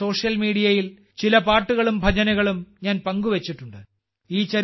എന്റെ സോഷ്യൽ മീഡിയയിൽ ചില പാട്ടുകളും ഭജനുകളും ഞാൻ പങ്കുവെച്ചിട്ടുണ്ട്